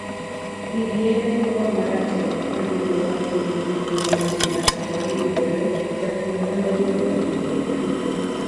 pidh yiende cocoa maratego. Ka gigo makedo gi tuo mag black pd yudore,, japurr nyalo yiero gino e pitho.